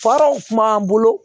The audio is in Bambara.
bolo